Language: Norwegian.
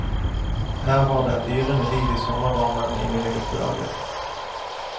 Her var det et yrende liv i sommervarmen i mine guttedager.